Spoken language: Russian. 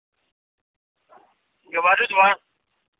говорю два